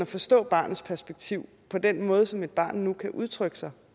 forstå barnets perspektiv på den måde som et barn nu kan udtrykke sig